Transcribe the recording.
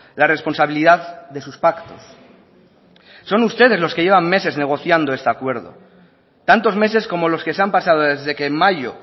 la responsabilidad de sus pactos son ustedes los que llevan meses negociando este acuerdo tantos meses como los que se han pasado desde que en mayo